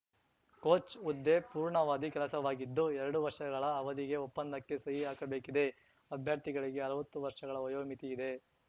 coach ಹುದ್ದೆ ಪೂರ್ಣಾವಧಿ ಕೆಲಸವಾಗಿದ್ದು ಎರಡು ವರ್ಷಗಳ ಅವಧಿಗೆ ಒಪ್ಪಂದಕ್ಕೆ ಸಹಿ ಹಾಕಬೇಕಿದೆ ಅಭ್ಯರ್ಥಿಗಳಿಗೆ ಅರ್ವತ್ತು ವರ್ಷಗಳ ವಯೋಮಿತಿ ಇದೆ